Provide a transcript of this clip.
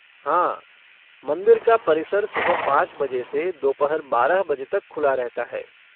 हाँ। मंदिर का परिसर सुबह पाँच बजे से दोपहर बारह बजे तक खुला रहता है।